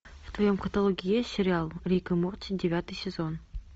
в твоем каталоге есть сериал рик и морти девятый сезон